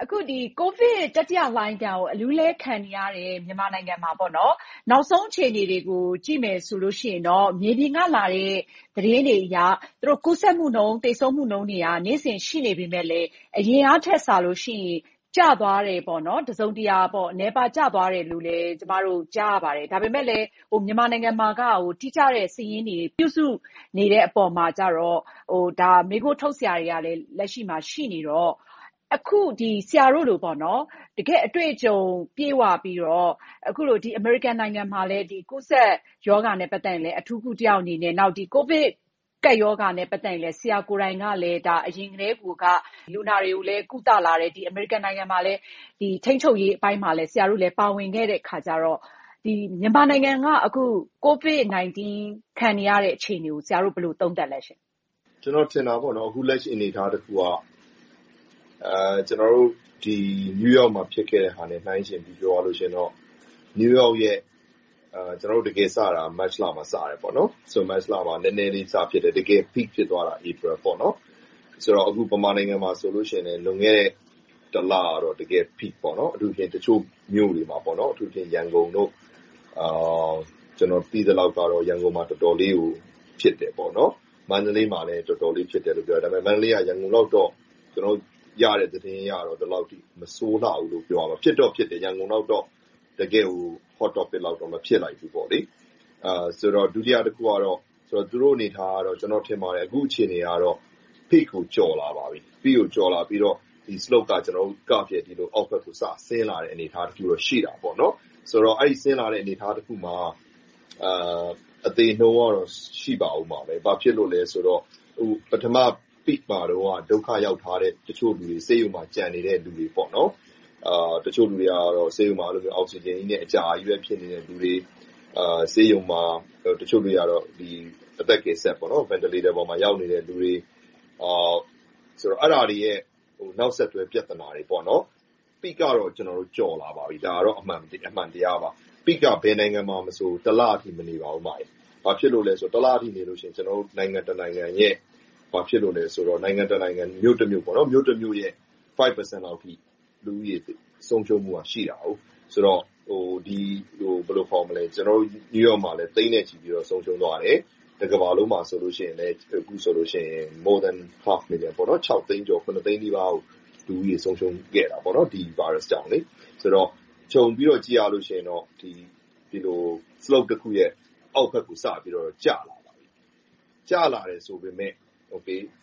အခု ကိုဗစ်တတိလှိုင်းကို အလူးအလဲ ခံနေရတဲ့ မြန်မာနိုင်ငံမှာ နောက်ဆုံးအခြေအနေတွေကို ကြည့်မယ်ဆိုရင်တော့ မြေပြင်ကလာတဲ့ သတင်းတွေအရ ကူးစက်မှုနှုန်း၊ သေဆုံးမှုနှုန်းတွေက နေ့စဉ်ရှိနေပေမယ့်လဲ အရင်ကထက်စာလို့ရှိရင် တစုံတရာ ကျသွားတယ်၊ နည်းသွားတယ်လို့ ကျမတို့ ကြားရပါတယ်။ ဒါပေမဲ့လဲ မြန်မာနိုင်ငံမှာက တိကျတဲ့စာရင်း ပြုစုနေတဲ့အပေါ်မှာကြတော့ မေးခွန်းထုတ်စရာတွေလည်း လက်ရှိမှာ ရှိနေလေတော့၊ ဆရာတို့လို တကယ့်အတွေ့အကြုံ ပြည့်ဝပြီးတော့၊ အမေရိကန်နိုင်ငံမှာလည်း ကူးစက်ရောဂါနဲ့ ပတ်သက်ရင်လည်း အထူးကုတစ်ယောက်အနေနဲ့။ နောက် ကိုဗစ်ကပ်ရောဂါနဲ့ ပတ်သက်ရင်လည်း ဆရာကိုယ်တိုင်က အရင်ကတည်းကိုက လူနာတွေကိုလည်း ကုသလာတယ်ဆိုတော့ အမေရိကန်နိုင်ငံမှာ ကိုဗစ်ထိန်းချုပ်ရေးပိုင်းမှာလည်း ပါတယ်ဆိုတော့ မြန်မာနိုင်ငံက ကိုဗစ်-၁၉ ခံနေရတဲ့ အခြေအနေကို ဆရာတို့ ဘယ်လိုသုံးသပ်မလဲရှင့်။ ကျနော်ထင်တာပေါ့ - လက်ရှိအနေအထားတစ်ခုက ကျနော်တို့ New York မှာ ဖြစ်ခဲ့တာနဲ့ နှိုင်းယှဉ်ပြောရရင် New York မှာ မတ်လမှာ နည်းနည်းလေးစဖြစ်တယ်။ တကယ်သိသိသာသာ ဖြစ်သွားတာ ဧပြီလ။ ဆိုတော့ မြန်မာနိုင်ငံမှာဆိုလဲ လွန်ခဲ့တဲ့ တစ်လကတော့ Peak ဖြစ်ခဲ့တယ်။ တချို့မြို့တွေမှာ အထူးသဖြင့် ရန်ကုန်တို့ - ကျနော် သိသလောက်တော့ ရန်ကုန်မှာ တော်တော်လေး ဖြစ်တယ်။ မန္တလေးမှာလည်း တော်တော်လေး ဖြစ်တယ်လို့ ပြောတယ်။ ဒါပေမဲ့ မန္တလေးကရတဲ့ သတင်းတွေအရတော့ ရန်ကုန်လောက် မဆိုးလှဘူးလို့ သိရတယ်။ ဖြစ်တော့ဖြစ်တယ် ရန်ကုန်လောက်တော့ မဖြစ်ခဲ့ဘူး။ ဒုတိယတစ်ခုကတော့ သူတို့အနေအထားက ကျနော်ထင်ပါတယ် အခုအခြေအနေကတော့ Peak ကို ကျော်လာပါပြီ။ Peak ကို ကျော်လာပြီးတော့ Slope က အောက်ဘက်ကို စဆင်းလာတဲ့ အနေအထားတစ်ခုတော့ ရှိတယ်။ ဆိုတော့ အဲဒီလို ဆင်းလာတဲ့ အနေအထားတစ်ခုမှာ သေနှုန်းကတော့ ရှိလာအုံးမှာပဲ။ ဘာဖြစ်လို့လဲဆိုတော့ ပထမ Peak မှာတုန်းက ဒုက္ခရောက်ထားတဲ့လူတွေ၊ ဆေးရုံမှာ ကျန်နေတဲ့လူတွေ၊ တချို့လူတွေက ဆေးရုံမှာ အောက်ဆီဂျင်နဲ့ အကြာကြီးကုစားနေသူတွေ။ တချို့တွေက ဆေးရုံမှာ အသက်ကယ်စက်ပေါ် ရောက်နေတဲ့လူတွေ။ အဲဒါတွေရဲ့ နောက်ဆက်တွဲ ပြဿနာတွေပေါ့။ Peak ကတော့ ကျော်လာပါပြီ။ ဒါကတော့ အမှန်တရားပါ။ Peak က ဘယ်နိုင်ငံမှာမဆို တစ်လလောက်ပါပဲ။ ဘာဖြစ်လို့လဲဆိုရင် တစ်လဆိုရင် နိုင်ငံတနိုင်ငံ၊ မြို့တမြို့ရဲ့ ရာခိုင်နှုန်းလောက် လူဦးရေ ဆုံးရှုံးမှုရှိတယ်ဆိုတော့ ကျနော်တို့ New York မှာလည်း သိန်းနဲ့ချီပြီးတော့ ဆုံးရှုံးသွားတယ်။ တကမ္ဘာလုံးမှာလည်း အခုဆိုရင် သိန်းနီးပါး လူဦးရေဆုံးရှုံးခဲ့တယ်။ ခြုံပြီးတော့ ကြည့်ရရင်တော့ Slope တစ်ခုရဲ့ အောက်ဘက်ကို ကျလာတယ်။ ကျလာတယ်ဆိုပေမယ့်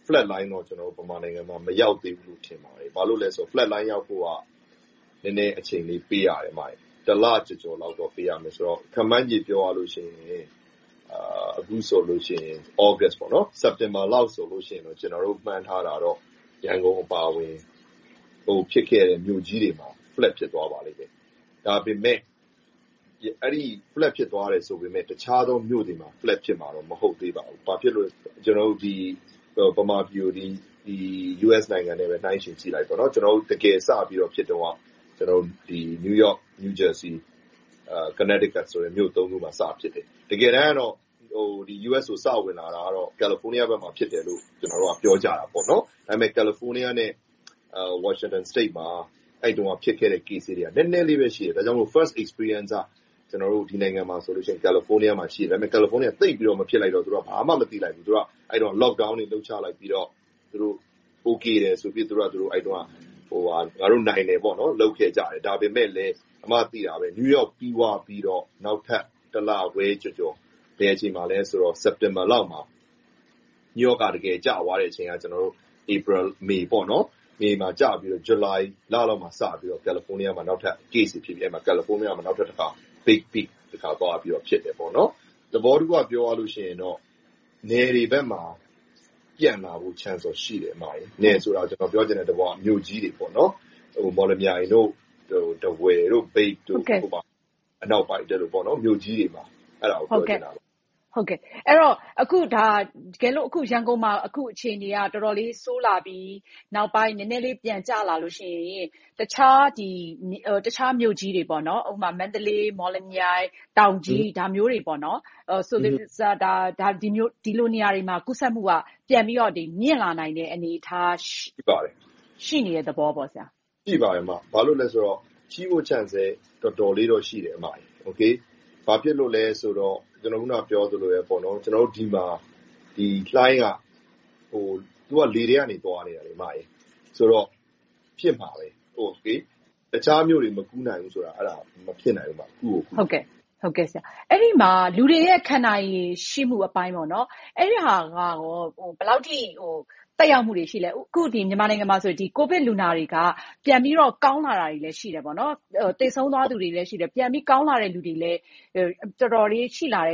Flat Line တော့ မြန်မာနိုင်ငံမှာ မရောက်သေးဘူး။ ဘာဖြစ်လို့လဲဆိုတော့ Flat Line ရောက်ဖို့က နည်းနည်းအချိန်ပေးရတယ်။ တစ်လကျော်ကျော်လောက် ပေးရမယ်ဆိုတော့ ခန့်မှန်းချေ ပြောရမယ်ဆိုရင် အခုဆိုရင် သြဂတ်စ်၊ စက်တင်ဘာလလောက်ဆိုရင် ကျနော်တို့ မှန်းထားတာတော့ ရန်ကုန်အပါအဝင် အကုန်ဖြစ်ခဲ့တဲ့ မြို့ကြီးတွေမှာ Flat ဖြစ်သွားပါလိမ့်မယ်။ ဒါပေမဲ့ Flat ဖြစ်သွားတယ်ဆိုပေမယ့် တခြားမြို့တွေမှာတော့ Flat ဖြစ်မှာတော့ မဟုတ်သေးပါဘူး။ ဘာဖြစ်လို့လဲဆိုတော့ မြန်မာပြည်ကို US နဲ့ နှိုင်းယှဉ်ကြည့်ပြောရင် ဒီမှာ တကယ်ဖြစ်တုန်းက New York, New Jersey, Connecticut မြို့ ခုမှာ စဖြစ်ခဲ့တယ်။ တကယ်တမ်းတော့ US ကို စဝင်လာတာ California ဘက်မှာ ဖြစ်ကြတယ်လို့ ပြောကြတယ်။ ဒါပေမဲ့ California နဲ့ Washington State မှာ အဲဒီတုန်းက ဖြစ်ခဲ့တဲ့ Case က နည်းနည်းလေးပဲရှိတော့ First experience က ဒီနိုင်ငံမျာဆိုရင် California ဖြစ်ပေမယ့်၊ California က သိပ်မဖြစ်လိုက်တော့ ဘာမှမသိလိုက်ဘူး။ အဲဒီတုန်းက Lockdown တွေ လုပ်ချလိုက်ပြီးတော့ Okay ငါတို့ နိုင်တယ်ဆိုပြီးတော့ လုပ်ခဲ့ကြတယ်။ ဒါပေမဲ့လဲ New York ဖြစ်သွားပြီး၊ နောက်ထပ်တစ်လခွဲကျော်ကျော် စက်တင်ဘာလမှာ New York က တကယ်ကျသွားတဲ့အချိန်က ဧပြီ၊ မေလမှာ။ ဇွန်လိုင်လလောက်မှာစပြီးတော့ California မှာ Case တွေ ထပ်ဖြစ်ပြီး၊ Big Peak သွားဖြစ်တယ်။ သဘောတစ်ခုက ပြောရရင်တော့ နယ်တွေဘက်မှာ ဖြစ်လာမယ့်အနေအထားတော့ ရှိတယ်။ နယ်ဆိုတာက ကျနော်ပြောချင်တာ မြို့ကြီးတွေပေါ့။ မော်လမြိုင်၊ ထားဝယ်၊ မြိတ်စတဲ့ မြို့ကြီးတွေမှာ ဖြစ်နိုင်တယ်လို့ ပြောချင်တာပါ။ အဲဒီတော့ ရန်ကုန်မှာ အခုအခြေအနေက တော်တော်လေး ဆိုးလာပြီး၊ နောက်ပိုင်း နည်းနည်းလေး ပြန်ကျလာလို့ရှိရင် တခြားမြို့ကြီးတွေ မန္တလေး၊ မော်လမြိုင်၊ တောင်ကြီး စတဲ့ နေရာတွေမှာ ကူးစက်မှုက ပြန်ပြီးတော့ မြှင့်လာနိုင်တဲ့ အနေအထား ရှိနေတဲ့ သဘောပေါ့။ ရှိပါတယ်။ ရှိမယ့် Chance လည်း တော်တော်လေးတော့ ရှိတယ်။ ဘာဖြစ်လို့လဲဆိုတော့ အခုနပြောသလိုပဲ ဒီမှာ လှိုင်းက - ဗိုင်းရပ်စ်ပိုးက လေထဲက သွားနေတာဆိုတော့ ဖြစ်မှာပဲ။ အခြားမြို့တွေ မကူးနိုင်ဘူးဆိုတာ မဖြစ်နိုင်ဘူး။ ကူးကိုကူးမှာ။ အဲဒီမှာ လူတွေရဲ့ ခံနိုင်ရည် ရှိမှုအပိုင်း။ အဲဒါက ဘယ်လောက်အထိ သက်ရောက်မှုတွေ ရှိသလဲ။ အခု မြန်မာနိုင်ငံမှာဆိုရင် ကိုဗစ်လူနာတွေက ပြန်ပြီးတော့ ကောင်းလာတာတွေလည်း ရှိတယ်။ သေဆုံးသွားသူတွေလည်း ရှိတယ်။ ကောင်းလာတဲ့လူတွေလည်း တော်တော်လေး ရှိလာတော့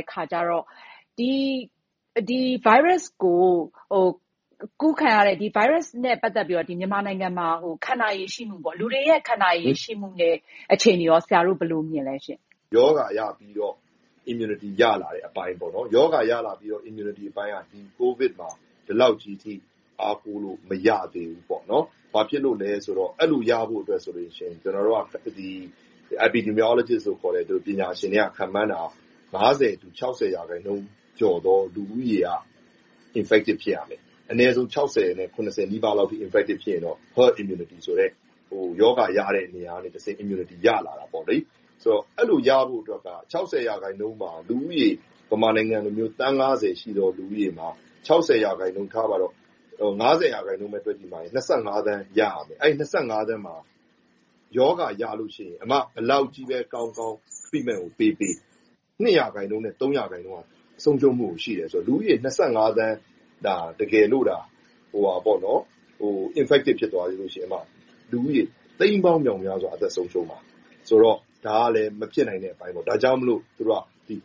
ဒီဗိုင်းရပ်စ်နဲ့ ပတ်သက်ပြီးတော့ မြန်မာနိုင်ငံမှာ ခံနိုင်ရည်ရှိမှု၊ လူတွေရဲ့ ခံနိုင်ရည်ရှိမှုနဲ့ အခြေအနေကော ဆရာတို့ ဘယ်လိုမြင်သလဲ။ ရောဂါရပြီးတော့ Immunity ရလာတဲ့ အပိုင်းပေါ့။ ရောဂါရပြီး Immunity အပိုင်းက ကိုဗစ်မှာ ဒီလောက်ကြီးအထိ အားကိုးလို့မရသေးဘူး။ ဘာဖြစ်လို့လဲဆိုတော့ အဲဒီလိုရဖို့ဆိုရင် ကျနော်တို့က epidemiologist တွေ ခန့်မှန်းတာက ၅၀-၆၀ ရာခိုင်နှုန်းကျော်သော လူဦးရေက infective ဖြစ်ရမယ်။ အနည်းဆုံး ၆၀-၇၀ နီးပါး infective ဖြစ်ရင်တော့ herd immunity ဆိုတဲ့ ရောဂါရတဲ့နေရာကနေ immunity ရလာတာပေါ့။ အဲဒီလိုရဖို့အတွက်က ၆၀ ရာခိုင်နှုန်းမှာ လူဦးရေ မြန်မာနိုင်ငံလို သန်း ရှိသော လူဦးရေမှာ ရာခိုင်နှုန်းထားပါတော့ - ရာခိုင်နှုန်းပဲတွက်ကြည့် သန်း ရရမယ်။ အဲဒီ သန်းမှာ ရောဂါရလို့ရှိရင် ဘယ်လောက်ကြီးပဲကောင်းကောင်း treatment ကိုပေးပေး၊ ရာခိုင်နှုန်း ဆုံးရှုံးမှု ရှိတယ်ဆိုတယ်။ လူဦးရေ သန်း တကယ်လိုသာ ရောဂါဖြစ်တယ်ဆိုရင် လူဦးရေ သိန်းပေါင်းမြောက်မြားစွာ အသက်ဆုံးရှုံးမယ်ဆိုတော့ ဒါကလဲ မဖြစ်နိုင်တဲ့အပိုင်းပေါ့။ ဒါကြောင့်မို့ သူတို့က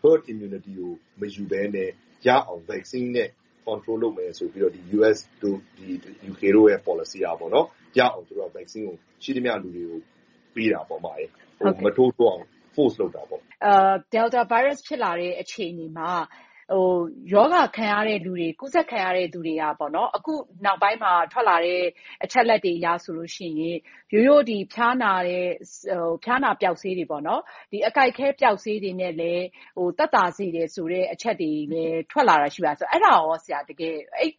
Herd Immunity ကို မယူဘဲနဲ့ ရအောင် Vaccine နဲ့ Control လုပ်မယ်ဆိုပြီးတော့ US တို့ UK တို့ရဲ့ ပေါ်လစီက Vaccine ကို ရှိသမျှလူတွေကို ထိုးပေးတာ။ မထိုးထိုးအောင် ဖိအားပေးတာပေါ့။ Delta Virus ဖြစ်လာတဲ့ အခြေအနေမှာ ကူးစက်ခံရတဲ့လူတွေက အခုနောက်ပိုင်းမှာ ထွက်လာတဲ့ အချက်အလက်တွေအရဆိုရင် ရိုးရိုးဖျားနာပျောက်ဆေးတွေ၊ အကိုက်အခဲပျောက်ဆေးတွေနဲ့လည်း သက်သာစေတယ်ဆိုတဲ့ အချက်တွေလည်း ထွက်လာတာရှိတယ်။ အဲဒီ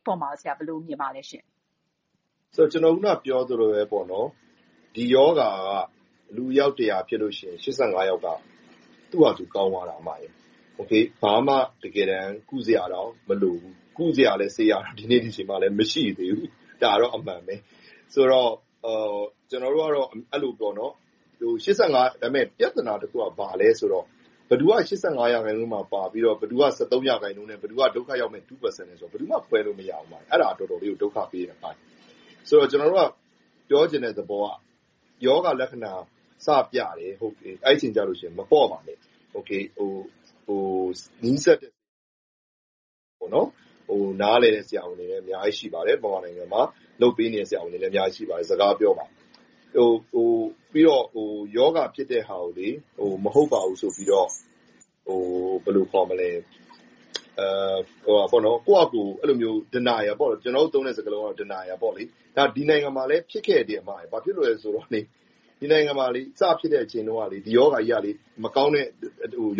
အပေါ် ဆရာ ဘယ်လိုမြင်ပါသလဲရှင့်။ ကျနော် အခုနပြောသလိုပါပဲ ဒီရောဂါက လူအယောက်တစ်ရာဖြစ်ရင် ယောက်က သူ့ဘာသာသူ ကောင်းသွားတယ်။ တကယ်တမ်း ဘာမှကုစရာတောင် မလိုဘူး။ ကုစရာဆေးကလည်း ဒီနေ့ဒီအချိန်အထိ မရှိသေးဘူး။ ဒါကတော့ အမှန်ပဲ။ ဒါပေမဲ့ ပြဿနာတစ်ခုက ဘာလဲဆိုတော့ ဘယ်သူက ရာခိုင်နှုန်းမှာပါပြီးတော့ ဘယ်သူက ရာခိုင်နှုန်းနဲ့ ဘယ်သူက ဒုက္ခရောက်မယ့် ရာခိုင်နှုန်းလဲဆိုတာကို ဘယ်သူမှ ခွဲလို့မရဘူး။ အဲဒါက တော်တော်လေးကို ဒုက္ခပေးတဲ့အပိုင်း။ ကျနော်တို့က ပြောချင်တဲ့သဘောက ရောဂါလက္ခဏာ စပြတယ်။ အဲဒီအချိန်ကျရင် မပေါ့ပါနဲ့။ နားလည်တဲ့ ဆရာဝန်တွေ မြန်မာနိုင်ငံမှာ အများကြီးရှိပါတယ်။ ကုပေးနေတဲ့ ဆရာဝန်တွေလည်း အများကြီးရှိပါတယ်။ သူတို့နဲ့ စကားပြောပါ။ ပြီးတော့ ရောဂါဖြစ်တဲ့ဟာကို မဟုတ်ပါဘူးဆိုပြီးတော့ ကိုယ့်ဘာသာ Denial – ဒီနိုင်ငံမှာလည်း ဖြစ်ခဲ့တယ်။ ဒီနိုင်ငံမှာ စဖြစ်ခဲ့တဲ့အချိန်တုန်းက ဒီရောဂါကြီးက မကောင်းတဲ့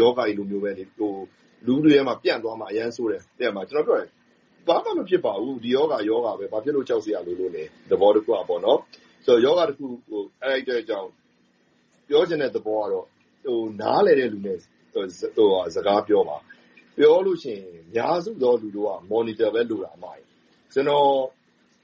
ရောဂါကြီးလိုပဲ လူထုထဲမှာ ပြန့်သွားမှာ အရမ်းဆိုးတယ်။ ကျနော်ပြောသလို ဘာမှမဖြစ်ပါဘူး။ ရောဂါက ရောဂါပဲ ဘာဖြစ်လို့ ကြောက်စရာလိုလို့လဲ။ သဘောတစ်ခုက ရောဂါတစ်ခုကို အဲဒီအတွက်ကြောင့် ပြောချင်တဲ့သဘောကတော့ နားလည်တဲ့လူနဲ့ စကားပြောပါ။ ပြောလို့ရှိရင် အများစုသော လူတို့က Monitor ပဲ လိုတာ။ ကျနော်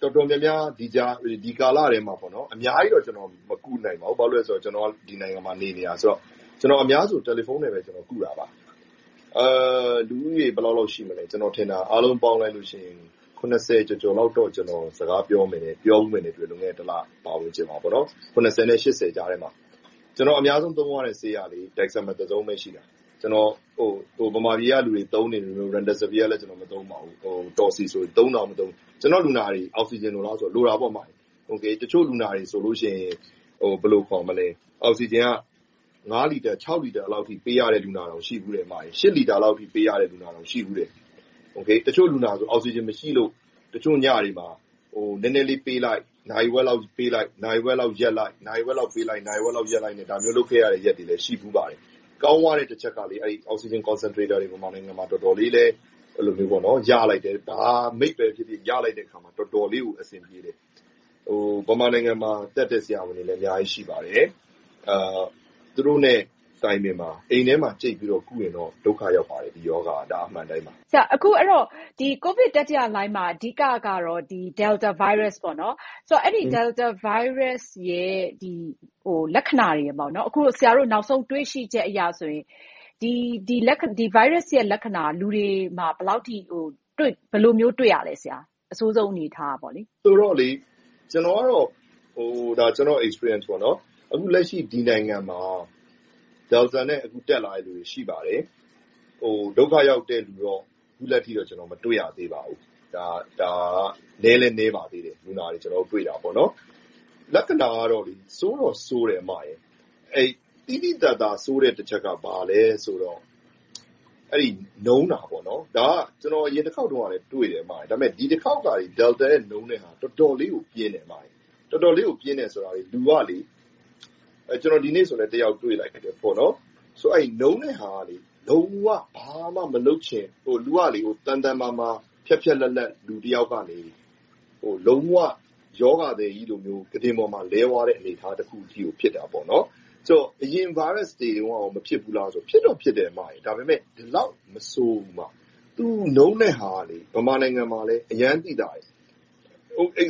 တော်တော်များများ ဒီကာလထဲမှာ အများကြီးတော့ မကုနိုင်ပါဘူး။ ဘာဖြစ်လို့လဲဆိုတော့ ကျနော်က ဒီနိုင်ငံမှာ နေနေတာဆိုတော့ အများစုကို တယ်လီဖုန်းနဲ့ပဲ ကုတာပါ။ လူဦးရေအားလုံးပေါင်း ကျော်ကျော်လောက်တော့ စကားပြောခဲ့ကုခဲ့ပါတယ်။ တစ်လအတွင်း နဲ့ ကြားထဲမှာ။ ကျနော် အများဆုံးသုံးရတဲ့ဆေးက Testosterone ပဲ ရှိတယ်။ မြန်မာပြည်ကလူတွေ သုံးနေတဲ့ Remdesivir လည်း မသုံးပါဘူး။ ကျနော့်လူနာတွေ အောက်ဆီဂျင်လိုလားဆိုတော့ လိုတာပေါ့။ တချို့လူနာတွေဆိုရင် အောက်ဆီဂျင်က လီတာ လီတာလောက်အထိ ပေးရတဲ့လူနာတောင် ရှိတယ်။ လီတာလောက်အထိ ပေးရတဲ့လူနာတောင် ရှိဖူးတယ်။ တချို့လူနာတွေဆို အောက်ဆီဂျင် မရှိလို့ တချို့ညတွေမှာ နည်းနည်းလေးပေးလိုက်၊ နာရီဝက်လောက်ပေးလိုက်၊ နာရီဝက်လောက်ရပ်လိုက်နဲ့ ဒါမျိုးလုပ်ခဲ့ရတဲ့ ရက်တွေလည်း ရှိခဲ့ဖူးပါတယ်။ ကောင်းသွားတဲ့တစ်ချက်က Oxygen Concentrator တွေ မြန်မာနိုင်ငံမှာ ရလိုက်တယ်။ ဘယ်လိုအမျိုးအစားပဲဖြစ်ဖြစ် ရလိုက်တော့ တော်တော်လေးကို အဆင်ပြေတယ်။ မြန်မာနိုင်ငံမှာ တတ်တဲ့ဆရာဝန်တွေလည်း အများကြီးရှိပါတယ်။ သူတို့နဲ့ တိုင်ပင်ပါ။ အိမ်ထဲမှာ ကြိတ်ပြီးတော့ ကုရင်တော့ ဒုက္ခရောက်ပါတယ်။ ဒီရောဂါက။ ဒါက အမှန်အတိုင်းပါ။ အဲဒီတော့ ကိုဗစ်တတိယလှိုှုင်းမှာ အဓိကတော့ Delta Virus ပေါ့။ အဲဒီဗိုင်းရပ်စ်ရဲ့ လက္ခဏာတွေက - အခုဆရာတို့ နောက်ဆုံးတွေ့ရှိချက်အရဆိုရင် ဒီဗိုင်းရပ်စ်ရဲ့ လက္ခဏာက လူတွေမှာ ဘယ်လိုမျိုး တွေ့ရသလဲ။ အဆိုးဆုံးအနေအထားက။ ကျနော့်အတွေ့အကြုံအရဆိုရင် အခုလက်ရှိ ဒီနိုင်ငံမှာ Delta နဲ့ တက်လာတဲ့လူနာတွေ ရှိပါတယ်။ ဒုက္ခရောက်တဲ့လူတော့ အခုထက်ထိတော့ မတွေ့ရသေးပါဘူး။ ဒါက နည်းလည်းနည်းပါသေးတယ်။ လက္ခဏာကတော့ ဆိုးတော့ဆိုးတယ်။ သိသိသာသာ ဆိုးတဲ့တစ်ချက်က ဘာလဲဆိုတော့ နုန်းချည့်တာ။ အရင်တစ်ခေါက်တုန်းကလည်း တွေ့တယ်။ ဒါပေမဲ့ ဒီတစ်ခေါက် Delta ရဲ့ နုန်းတဲ့ဟာက တော်တော်လေး ပြင်းထန်တယ်။ တော်တော်လေး ပြင်းတယ်ဆိုတာ ဥပမာ ဒီနေ့ဆိုလဲ လူနာတစ်ယောက်တွေ့တယ်။ နုန်းတဲ့ဟာက ဘာမှမလုပ်ချင်၊ လူက သန်သန်မာမာ ဖျတ်ဖျတ်လတ်လတ် လူတစ်ယောက်ကနေ လုံးဝရောဂါသည်ကြီးလို ကုတင်ပေါ်မှာ လဲသွားတဲ့ အနေအထားတစ်ခုကို ဖြစ်သွားတာ။ ဆိုတော့ အရင်းဗိုင်းရပ်စ်တွေတုန်းက မဖြစ်ဘူးလားဆိုရင် ဖြစ်တာပေါ့။ ဒါပေမဲ့ ဒီလောက် မဆိုးဘူး။ သူနုန်းတဲ့ဟာက မြန်မာနိုင်ငံမှာလည်း အရမ်းသိသာတယ်။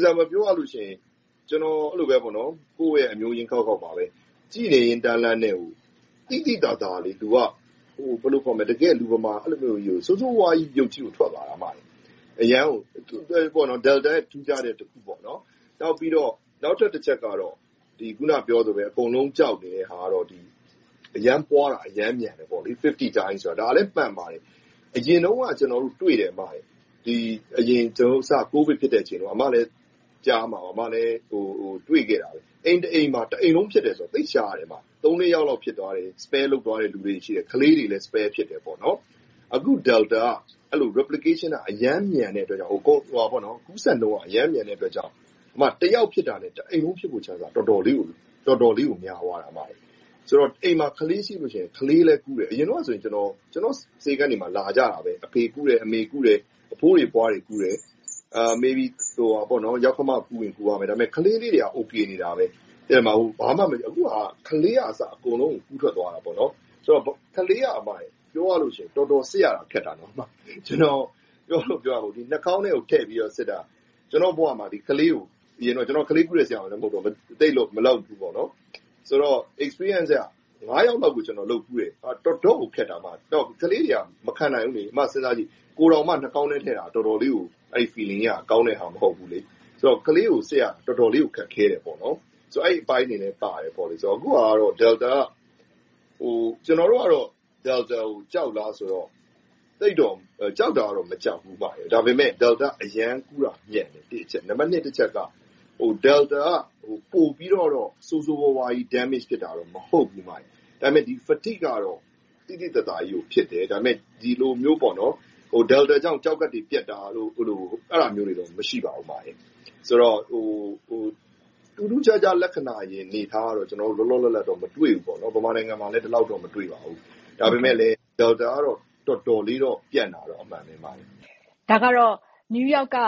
ဥပမာပြောရရင် ကျနော်ကုသခဲ့တဲ့ အမျိုးရင်းခေါက်ခေါက်ဆိုလဲ ကြည့်နေရင်တန်းလန်းနဲ့ သိသိသာသာ လူက တကယ်လူမမာ ဆိုးဆိုးဝါးဝါးကြီး ဖြစ်သွားတာ။ Delta ရဲ့ ထူးခြားတဲ့အချက်ပေါ့။ နောက်ထပ်တစ်ချက်ကတော့ အခုနပြောသလိုပဲ အကုန်လုံး ကြောက်တဲ့ဟာကတော့ အရမ်းပွားတာ၊ အရမ်းမြန်တယ်။ အဆ နှုန်းရှိတယ်။ ဒါလဲမှန်ပါတယ်။ အရင်တုန်းက ကျနော်တို့တွေ့တယ် - အစပိုင်း ကိုဗစ်ဖြစ်ချိန်တုန်းက အိမ်တစ်အိမ်မှာ တစ်အိမ်လုံးဖြစ်တယ်ဆိုတာ သိပ်ရှားတယ်။ သုံးလေးယောက်ဖြစ်တယ်၊ ကျန်တဲ့လူ မဖြစ်ဘူး။ ကလေးတွေ မဖြစ်ဘူး။ အခု Delta က Replication က အရမ်းမြန်တဲ့အတွက်ကြောင့် ကူးစက်နှုန်း အရမ်းမြန်တဲ့အတွက်ကြောင့် တစ်ယောက်ဖြစ်တာနဲ့ တစ်အိမ်လုံး ဖြစ်ဖို့အခွင့်အရေး တော်တော်လေးကို များသွားတယ်။ ဆိုတော့ အိမ်မှာ ကလေးရှိရင်လဲ ကလေးလည်း ကူးတယ်။ အရင်တုန်းကဆိုရင် ကျနော့်ဆေးခန်းတွေမှာ လာကြတာပဲ - အဖေကူးတယ်၊ အမေကူးတယ်။ အဖိုးအဖွားတွေ ကူးတယ်။ ယောက္ခမကူးပေမယ့် ကလေးတွေက အိုကေနေတယ်။ ဘာမှမဖြစ်ခဲ့ဘူး။ အခုကတော့ ကလေးကအစ အကုန်လုံးကို ကူးစက်သွားတယ်။ ပြောရမယ်ဆိုရင် ကလေးက တော်တော်လေးကို စစ်ရခက်တယ်။ နှာခေါင်းထဲကိုထည့်ပြီးစစ်တာ - ကျနော်က ကလေးကုတဲ့ ဆရာဝန်လည်း မဟုတ်တော့ - အတွေ့အကြုံအရ ယောက်လောက်ကို စစ်ဖူးတယ်။ တော်တော့်ကို ခက်တယ်။ ကလေးတွေက မခံနိုင်ဘူး။ စဉ်းစားကြည့် ကိုယ်တောင်မှ နှာခေါင်းထဲကို ထည့်စစ်တာ အတော်ခံရတော့ ကလေးကို စစ်ရတာ တော်တော်လေးကို ခက်ခဲတယ်။ အဲဒီအပိုင်းတွေလည်းပါတယ်။ အခုဟာက Delta က ကျနော်တို့အနေနဲ့ Delta ကို ကြောက်လားဆိုတော့ ကြောက်တာတော့ မကြောက်ဘူး၊ ဒါပေမဲ့ Delta က ကူးစက်မှုအရမ်းမြန်တယ်။ နံပါတ်နှစ်အချက်က Delta က ပိုပြီးတော့ ဆိုးဆိုးဝါးဝါး ထိခိုက်တာတော့ မဟုတ်ဘူး။ ဒါပေမဲ နုန်းချည့်မှုကတော့ သိသိသာသာကြီးကို ဖြစ်တယ်။ ဒီလိုမျိုး Delta ကြောင့် ကျောက်ကပ်တွေ ပျက်တာတို့၊ အဲဒါမျိုးတွေတော့ မရှိပါဘူး။ ဆိုတော့ ထူးထူးခြားခြား လက္ခဏာရယ်လို့တော့ လောလောလတ်လတ်တော့ မတွေ့ပါဘူး။ မြန်မာနိုင်ငံမှာလည်း ဒီလောက်တော့ မတွေ့ပါဘူး။ ဒါပေမဲ့ Delta ကတော့ တော်တော်လေးတော့ ပြန့်တာတော့ အမှန်ပါပဲ။ ဒါကတော့ New York က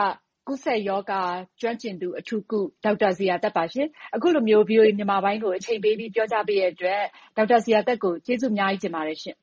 ကူးစက်ရောဂါ ကျွမ်းကျင်သူ၊ အထူးကုဆရာဝန် ဒေါက်တာဇေယျာသက်ပါ။ အခုလိုမျိုး VOA မြန်မာပိုင်းကို အချိန်ပေးပြီး ပြောကြားပေးတဲ့အတွက် ဒေါက်တာဇေယျာသက်ကို ကျေးဇူးအများကြီးတင်ပါတယ်ရှင့်